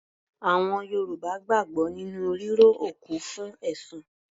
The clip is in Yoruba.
Àwọn Yorùbá gbàgbọ́ nínú ríró òkú fún ẹ̀san.